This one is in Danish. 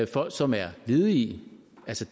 folk som er ledige